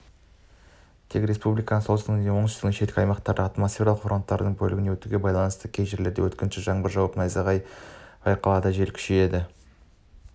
тек республиканың солтүстігінде және оңтүстігінің шеткі аймақтарында атмосфералық фронтальды бөліктердің өтуіне байланысты кей жерлерінде өткінші жаңбыр жауып найзағай байқалады жел күшейеді